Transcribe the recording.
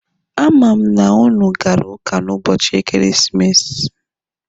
A ma m na ụnụ gara ụka n'ụbọchị ekeresimesi.